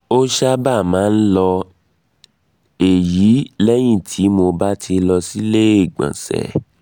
ó sábà um máa um ń lọ èyí lẹ́yìn tí mo bá ti lọ sí ilé ìgbọ̀nsẹ̀